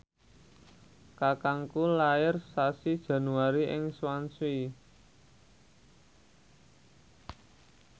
kakangku lair sasi Januari ing Swansea